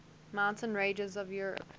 mountain ranges of europe